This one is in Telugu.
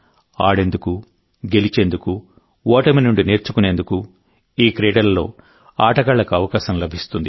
ఆడేందుకు గెలిచేందుకు ఓటమి నుండి నేర్చుకునేందుకు ఈ క్రీడలలో ఆటగాళ్లకు అవకాశం లభిస్తుంది